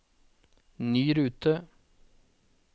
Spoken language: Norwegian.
ny rute